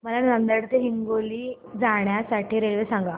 मला नांदेड ते हिंगोली जाण्या साठी रेल्वे सांगा